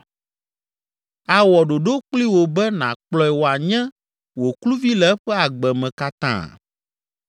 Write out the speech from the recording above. Awɔ ɖoɖo kpli wò be nàkplɔe wòanye wò kluvi le eƒe agbe me katã?